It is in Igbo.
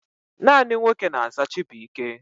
Naanị nwoke na-aza Chibụike.